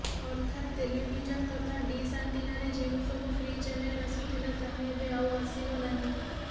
ଅର୍ଥାତ୍ ଟେଲିଭିଜନ ତଥା ଡିସ୍ ଆଣ୍ଟିନାରେ ଯେଉଁସବୁ ଫ୍ରି ଚ୍ୟାନେଲ ଆସୁଥିଲା ତାହା ଏବେ ଆଉ ଆସିବ ନାହିଁ